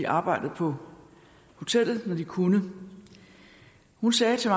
arbejdede på hotellet når de kunne hun sagde til